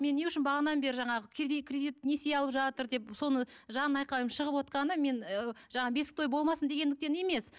мен не үшін бағанадан бері жаңағы кердит кредит несие алып жатыр деп соны жан айқайым шығып отырғаны мен ы бесік той болмасын дегендіктен емес